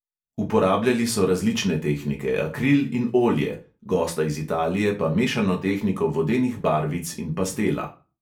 Uporabljali so različne tehnike: akril in olje, gosta iz italije pa mešano tehniko vodenih barvic in pastela.